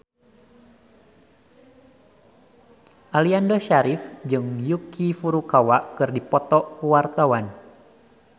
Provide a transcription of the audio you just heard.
Aliando Syarif jeung Yuki Furukawa keur dipoto ku wartawan